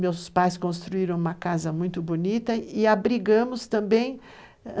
Meus pais construíram uma casa muito bonita e abrigamos também.